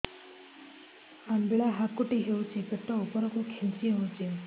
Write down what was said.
ଅମ୍ବିଳା ହେକୁଟୀ ହେଉଛି ପେଟ ଉପରକୁ ଖେଞ୍ଚି ହଉଚି